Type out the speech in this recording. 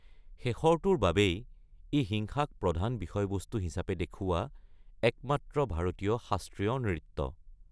শেষৰটোৰ বাবেই, ই হিংসাক প্ৰধান বিষয়বস্তু হিচাপে দেখুওৱা একমাত্ৰ ভাৰতীয় শাস্ত্ৰীয় নৃত্য।